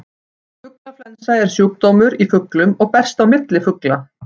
Fuglaflensa er sjúkdómur í fuglum og berst á milli fugla.